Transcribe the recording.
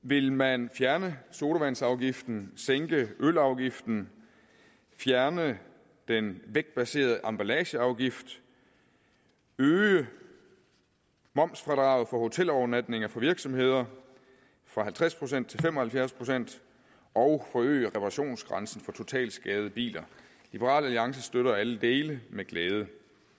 vil man fjerne sodavandsafgiften sænke ølafgiften fjerne den vægtbaserede emballageafgift øge momsfradraget for hotelovernatninger for virksomheder fra halvtreds procent til fem og halvfjerds procent og forøge reparationsgrænsen for totalskadede biler liberal alliance støtter alle dele med glæde